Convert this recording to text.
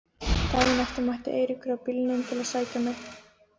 Daginn eftir mætti Eiríkur á bílnum til að sækja mig.